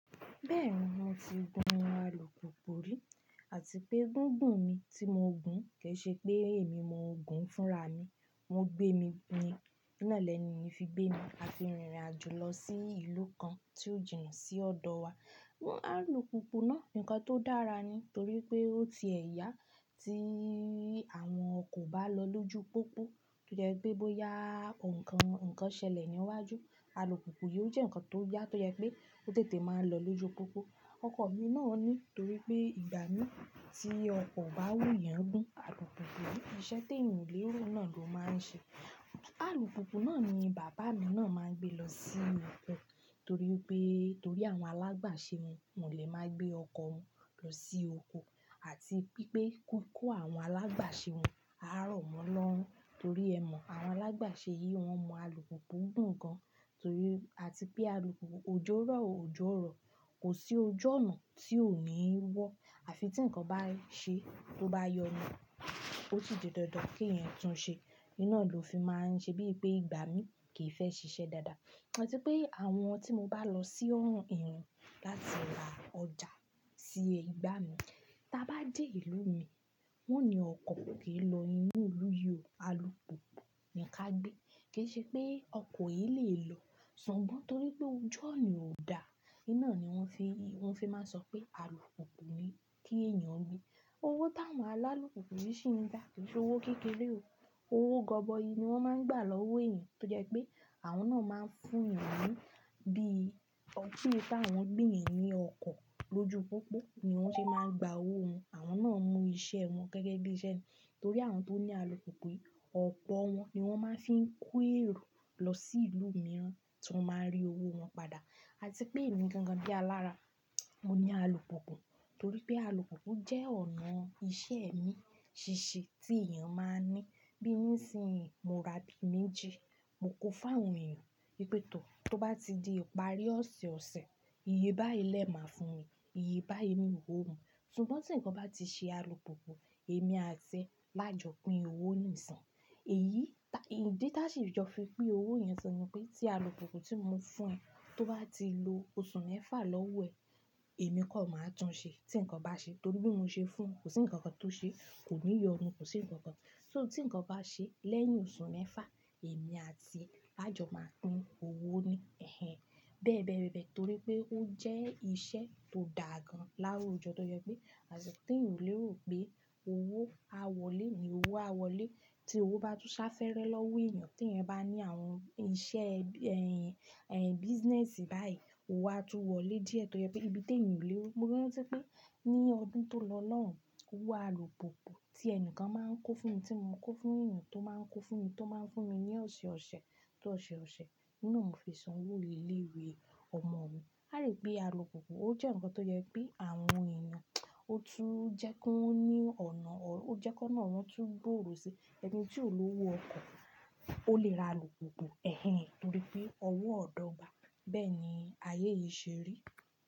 Bẹ́ẹ̀ni, mo ti gun àlùpùpù rí àti pé gúgùn mi tí mo ń gun kì í ṣe pé èmi mo ń gun fúnra mi. Wọ́n gbé mi ni iná lẹ́ni ni wọ́n fi gbé mi a fi rìnrìn àjò lọ sí ìlú kan tí ó jìnà sí ọ̀dọ̀ wa. Àlùpùpù náà nǹkan tó dára ni torí pé ó ti ẹ̀ ya tí àwọn ọkọ̀ bá lọ lójú pópó, tó jẹ́ pé bó ya oun kàn ǹkan ṣẹlẹ̀ níwájú, àlùpùpù yóò jẹ́ nǹkan tó yá tó jẹ́ pé ó tètè máa lọ lójú pópó. Ọkọ̀ mi náà ni torí pé ìgbà mí tí ọkọ̀ bá wù yàn gùn, àlùpùpù yí iṣẹ́ tí èèyàn o lérò náà ló máa ń ṣe. Àlùpùpù náà ni bàbá mi náà máa ń gbé lọ sí oko torí pé torí àwọn alágbàṣe yẹn, wọn o le máa ń gbé ọkọ̀ wọn lọ sí oko àti pé kan kó àwọn alágbàṣe wọn á rọ̀ wọ́n lọ torí ẹmọ̀ àwọn alágbàṣe yìí wọn mọ àlùpùpù gùn gan torí àti pé àlùpùpù òjò rọ̀ o òjò ò rọ̀. Kò sí ojú ọ̀nà tí ò ní wọ́ àfi tí ǹkan bá n ṣe tó bá yọnu, ó sì di dandan kí èèyàn tún un ṣe. Iná ló fi máa ń ṣe bí i pé ìgbà mí kì í fẹ́ ṣiṣẹ́ dáadáa àti pé àwọn tí mo bá lọ sí ọ̀run èèrùn láti ra ọjà sí igbà mí, tí a bá dé ìlú mi, wọ́n ni ọkọ̀ kìí lọ inú ìlú yìí o àlùpùpù ni ká gbé kì í ṣe pé ọkọ̀ yìí lè lọ. Ṣùgbọ́n torí pé ojú ọ̀nà ò dá, iná ni wọ́n fi, wọ́n fi máa ń sọ pé àlùpùpù ni kí èèyàn gbé. Owó tá wọ́n alálùpùpù yi sì ń gb, kì í ṣe owó kékeré o. Owó gọbọi ni wọ́n máa ń gbà lọ́wọ́ èèyàn tó jẹ́ pé àwọn náà máa ń fún èèyàn ní bí i ọpí tí àwọn gbé èèyàn ní ọkọ̀ lójú pópó ni wọ́n ṣe máa ń gba owó wọn. Àwọn náà mú iṣẹ́ wọn gẹ́gẹ́ bí iṣẹ́ ni torí àwọn tó ní àlùpùpù yìí ọ̀pọ̀ wọn ni wọ́n máa ń fi ń ko èrò lọ sí ìlú mìíràn tí wọ́n máa n rí owó wọn padà. Àti pé èmi gangan bíi alára, mo ní àlùpùpù torí pé àlùpùpù jẹ́ ọ̀nà iṣẹ́ mi ṣíṣe tí èèyàn máa ń ní bí nísìínyi mòo ra bí méjì, mò kó fún àwọn èèyàn. Wipè tó bá ti di ìparí ọ̀sẹ̀ ọ̀sẹ̀, iyebáyi lẹ máa fún mi, iyebáyi ni iwó mu. Ṣùgbọ́n tí ǹkan bá ti ṣe àlùpùpù, èmi àti lájọpín owó nìsin. Èyí, ìdí tá sì jọ fi pín owó yẹn sọnù pé tí àlùpùpù tí mo fún ẹ tó bá ti lo oṣù mẹ́fà lọ́wọ́ ẹ̀, èmi kọ́ máa tún un ṣe tí ǹkan bá ṣe torí bí mo ṣe fún, kò sí ǹkankan tó ṣe, kò ní yọnu, kò sí ǹkankan. So tí ǹkan bá ṣe lẹ́yìn oṣù mẹ́fà, èmi àti ẹ lájọpín owó ni. Ẹ̀hẹn. Bẹ́ẹ̀ bẹ́ẹ́ bẹ́ẹ̀ torí pé ó jẹ́ iṣẹ́ tó dà gan láwùjọ tó jẹ́ pé àti tí ènìyàn lè rò pé owó a wọlé ni owó a wọlé tí owó bá tún sá fẹ́rẹ lọ́wọ́ èèyàn tí èèyàn bá ní àwọn iṣẹ́, ẹ̀, ẹ̀, business báyìí owó a tú wọlé díẹ̀ tó jẹ́ pé ibi tí èèyàn olè rò mo rántí pé ní ọdún tó lọ lóun, owó àlùpùpù tí ẹni kan máa ń kó fún mi tí mò ń kó fún èèyàn tó máa ń kó fún mi tó máa ń fún mi ní ọ̀sẹ̀ ọ̀sẹ̀ tó ọ̀sẹ̀ ọ̀sẹ̀, iná ò fi san owó ilé ìwé ọmọ mi. A rí pé àlùpùpù ó jẹ́ ǹkan tó jẹ́ pé àwọn èèyàn, ó tún jẹ́ kó ní ọ̀nà ọ̀rọ̀, ó jẹ́ kó náà wọn tún gbòòrò ṣe. Ẹni tí ò lówo ọkọ̀, ó lè ra àlùpùpù. Ẹ̀hẹn. Torí pé owó ọ̀dọ́ gba. Bẹ́ẹ̀ ni ayé yìí ṣe rí.